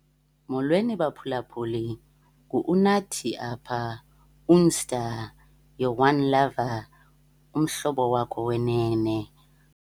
Molweni, baphulaphuli. Ngu-Unathi apha, Unsta, your one lover, umhlobo wakho wenene.